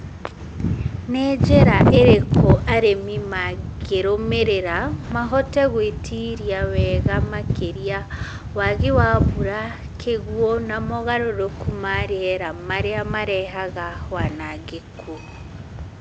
Nĩ njĩra ĩrĩkũ arĩmi mangĩrũmĩrĩra mahote gwĩtiria wega makĩria wagi wa mbura, kĩguo na mogarũrũku ma rĩera marĩa mareha wanangĩku.